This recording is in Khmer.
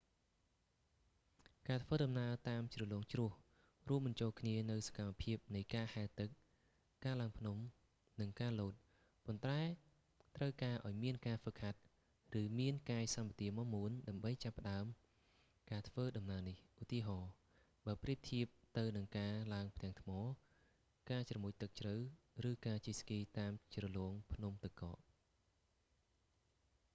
ការធ្វើដំណើរតាមជ្រលងជ្រោះ រួមបញ្ចូលគ្នានូវសកម្មភាពនៃការហែលទឹក ការឡើងភ្នំ និងការលោត ប៉ុន្តែត្រូវការឲ្យមានការហ្វឹកហាត់ ឬមានកាយសម្បទាមាំមួនដើម្បីចាប់ផ្តើមការធ្វើដំណើរនេះ ឧទាហរណ៍ បើប្រៀបធៀបទៅនឹងការឡើងផ្ទាំងថ្ម ការជ្រមុជទឹកជ្រៅ ឬការជិះស្គីតាមជ្រលងភ្នំទឹកកក